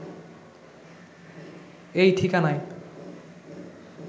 এই ঠিকানায়